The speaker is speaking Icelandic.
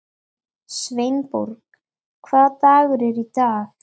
Sveinborg, hvaða dagur er í dag?